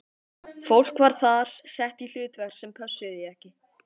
Fólk var þar sett í hlutverk sem pössuðu því ekki.